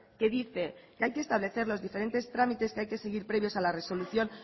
que dice que hay que establecer los diferentes tramites que hay que seguir previos a la resolución